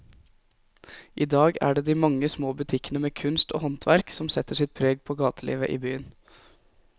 I dag er det de mange små butikkene med kunst og håndverk som setter sitt preg på gatelivet i byen.